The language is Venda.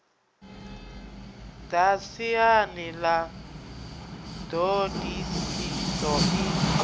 ḓa siani ḽa ṱhodisiso i